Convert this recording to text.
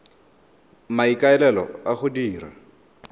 ka maikaelelo a go dira